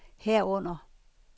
herunder